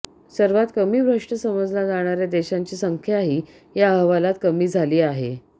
सर्वात कमी भ्रष्ट समजल्या जाणार्या देशांची संख्याही या अहवालात कमी झाली आहे